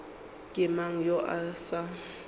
ke mang yo a sa